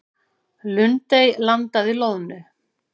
Lundey landaði loðnu